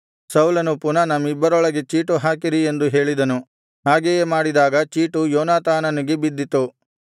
ಸೌಲನು ಪುನಃ ನಮ್ಮಿಬ್ಬರೊಳಗೆ ಚೀಟು ಹಾಕಿರಿ ಎಂದು ಹೇಳಿದನು ಹಾಗೆಯೇ ಮಾಡಿದಾಗ ಚೀಟು ಯೋನಾತಾನನಿಗೆ ಬಿದ್ದಿತು